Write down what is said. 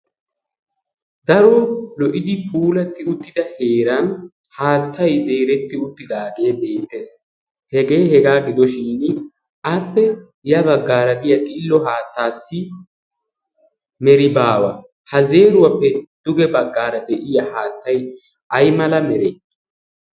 daro lo"idi puulatti uttida heeran haattai zeeretti uttidaagee deettees hegee hegaa gidoshin appe ya baggaara giya xillo haattaassi meri baawa ha zeeruwaappe duge baggaara de'iya haattay ay mala mere?